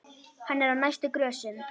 Hann er á næstu grösum.